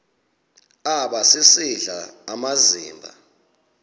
aba sisidl amazimba